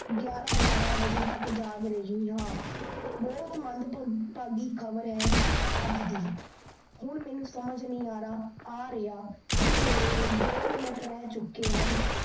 ਗਿਆਯਰਾ ਬਾਰਾਂ ਬਜੇ ਤੱਕ ਜਾਗ ਰਹੀ ਹਾਂ, ਬਹੁਤ ਮੰਦਭਾਗੀ ਖਬਰ ਹੈ ਅੱਜ ਦੀ ਹੁਣ ਮੀਨੂੰ ਸਮਝ ਨੀ ਆਰਾ ਆਰੀਆ ਕੀ ਮੇਰੇ ਦੋ ਮਿੰਟ ਰੇਹ ਚੁੱਕੇ ਹਨ।